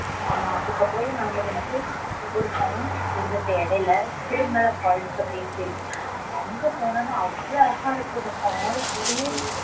ஆமா அதுக்கு அப்புறம் நாங்க வந்து ஒரு falls இருந்துச்சு இடைல அங்க போனா அவ்ளோ அழகா இருக்குது அந்த falls